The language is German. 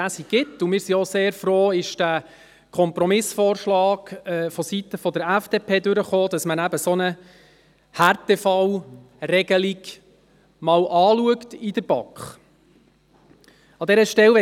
Wir sind auch sehr froh, dass der Kompromissvorschlag seitens der FDP durchkam, dass eine solche Härtefallregelung in der BaK angeschaut wird.